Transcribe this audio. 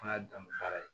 An y'a dan ni baara ye